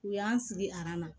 U y'an sigi na